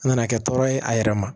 An nana kɛ tɔɔrɔ ye a yɛrɛ ma